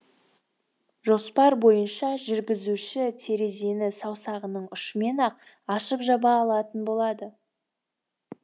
жоспар бойынша жүргізуші терезені саусағының ұшымен ақ ашып жаба алатын болады